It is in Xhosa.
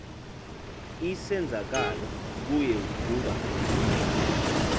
isenzakalo kuye kuba